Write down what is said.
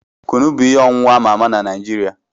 Kunu bụ ihe ọṅụṅụ ama ama na Naijiria.